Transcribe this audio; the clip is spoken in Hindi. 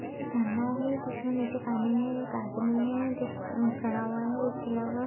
में एक झरना है जिसमे नीचे पानी है एक आदमी है जो अ खड़ा हुआ है उसके अलावा --